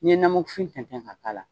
I bɛ tɛn tɛn ka k'a la.